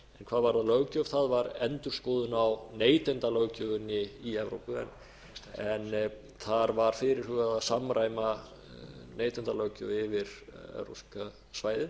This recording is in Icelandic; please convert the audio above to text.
en hvað varðar löggjöf var endurskoðun á neytendalöggjöfinni í evrópu en þar var fyrirhugað að samræma neytendalöggjöf yfir evrópska svæðið